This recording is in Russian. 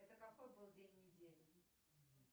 это какой был день недели